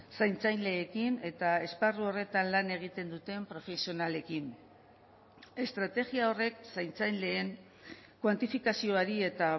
zaintzailekin eta esparru horretan lan egiten duten profesionalekin estrategia horrek zaintzaileen kuantifikazioari eta